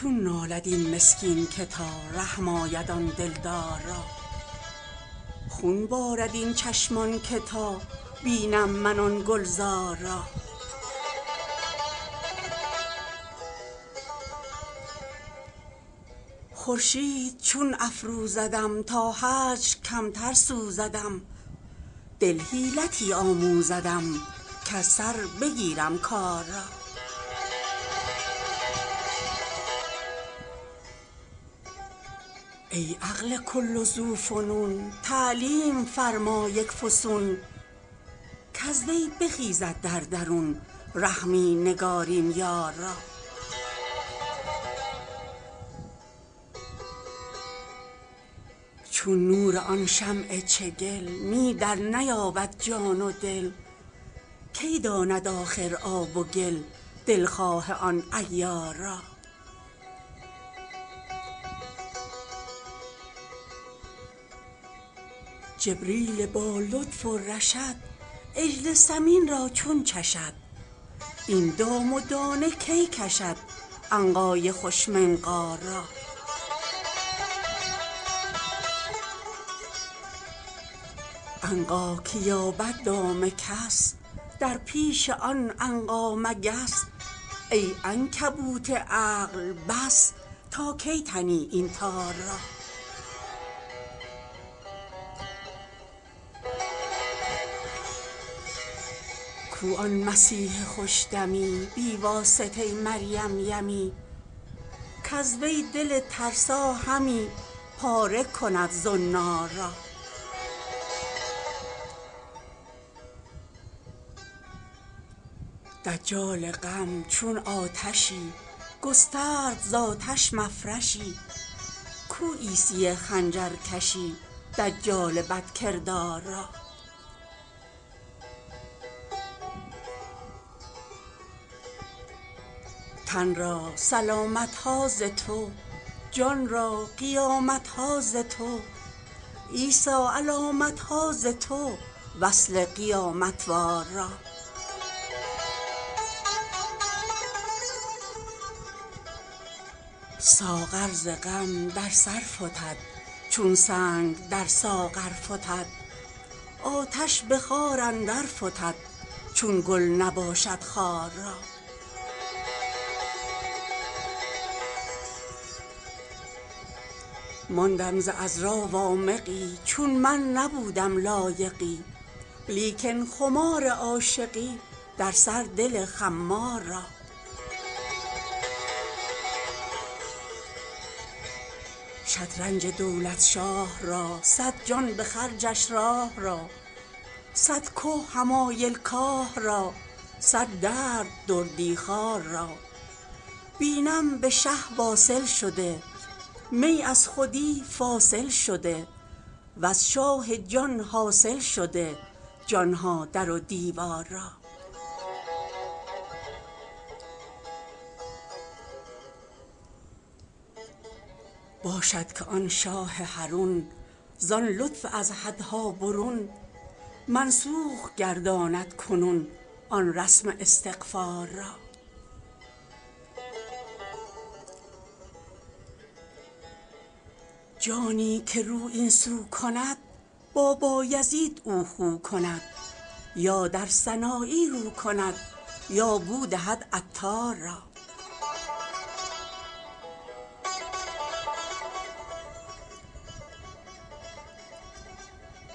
چون نالد این مسکین که تا رحم آید آن دلدار را خون بارد این چشمان که تا بینم من آن گلزار را خورشید چون افروزدم تا هجر کمتر سوزدم دل حیلتی آموزدم کز سر بگیرم کار را ای عقل کل ذوفنون تعلیم فرما یک فسون کز وی بخیزد در درون رحمی نگارین یار را چون نور آن شمع چگل می درنیابد جان و دل کی داند آخر آب و گل دلخواه آن عیار را جبریل با لطف و رشد عجل سمین را چون چشد این دام و دانه کی کشد عنقای خوش منقار را عنقا که یابد دام کس در پیش آن عنقا مگس ای عنکبوت عقل بس تا کی تنی این تار را کو آن مسیح خوش دمی بی واسطه مریم یمی کز وی دل ترسا همی پاره کند زنار را دجال غم چون آتشی گسترد ز آتش مفرشی کو عیسی خنجرکشی دجال بدکردار را تن را سلامت ها ز تو جان را قیامت ها ز تو عیسی علامت ها ز تو وصل قیامت وار را ساغر ز غم در سر فتد چون سنگ در ساغر فتد آتش به خار اندر فتد چون گل نباشد خار را ماندم ز عذرا وامقی چون من نبودم لایقی لیکن خمار عاشقی در سر دل خمار را شطرنج دولت شاه را صد جان به خرجش راه را صد که حمایل کاه را صد درد دردی خوار را بینم به شه واصل شده می از خودی فاصل شده وز شاه جان حاصل شده جان ها در و دیوار را باشد که آن شاه حرون زان لطف از حدها برون منسوخ گرداند کنون آن رسم استغفار را جانی که رو این سو کند با بایزید او خو کند یا در سنایی رو کند یا بو دهد عطار را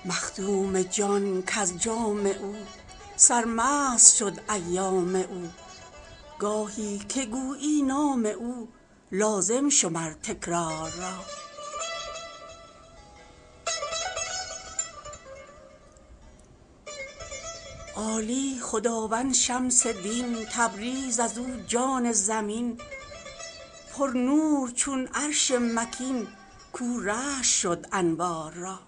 مخدوم جان کز جام او سرمست شد ایام او گاهی که گویی نام او لازم شمر تکرار را عالی خداوند شمس دین تبریز از او جان زمین پرنور چون عرش مکین کاو رشک شد انوار را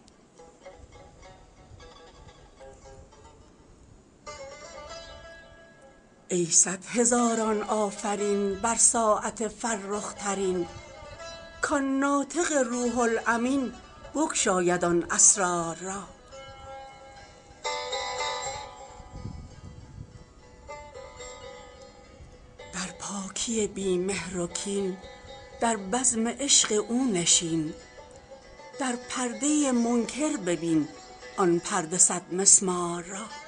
ای صد هزاران آفرین بر ساعت فرخ ترین کان ناطق روح الامین بگشاید آن اسرار را در پاکی بی مهر و کین در بزم عشق او نشین در پرده منکر ببین آن پرده صدمسمار را